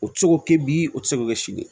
O tɛ se k'o kɛ bi o tɛ se k'o kɛ si de ye